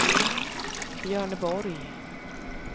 Björneborg